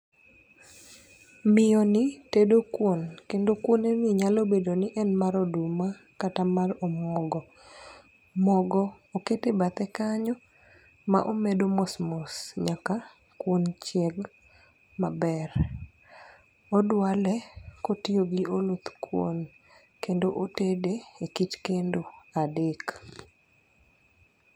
Miyo ni tedo kuon, kendo kuon ni nyalo bedo ni en mar oduma kata mar omuogo. Mogo okete bathe kanyo ma omedo mos mos nyaka kuon chieg maber. Odwale kotiyo gi oluth kuon, kendo otede e kich kendo adek.